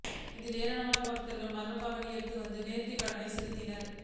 இதில் ஏராளமான பக்தா்கள் மலா்க் காவடி எடுத்து வந்து நோ்த்திக் கடன் செலுத்தினா்